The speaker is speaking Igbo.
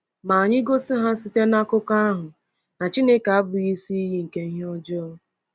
“Ma anyị gosi ha site n’akụkọ ahụ na Chineke abụghị isi iyi nke ihe ọjọọ.”